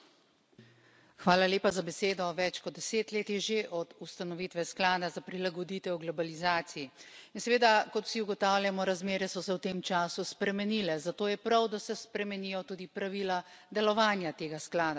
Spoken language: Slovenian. Gospod predsednik, več kot deset let je že od ustanovitve sklada za prilagoditev globalizaciji. In seveda, kot vsi ugotavljamo, razmere so se v tem času spremenile, zato je prav, da se spremenijo tudi pravila delovanja tega sklada.